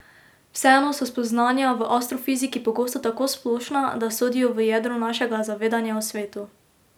Vseeno so spoznanja v astrofiziki pogosto tako splošna, da sodijo v jedro našega zavedanja o svetu.